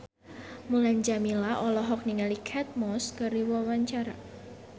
Mulan Jameela olohok ningali Kate Moss keur diwawancara